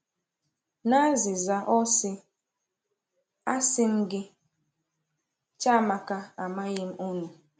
N’azịza, ọ sị: A sị m gị, Chiamaka, a maghị m unu.